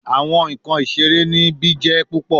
Awọn nkan isere nibi jẹ pupọ